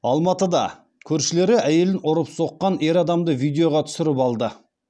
алматыда көршілері әйелін ұрып соққан ер адамды видеоға түсіріп алды